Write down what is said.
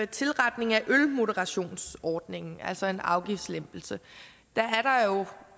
tilretning af ølmoderationsordningen altså en afgiftslempelse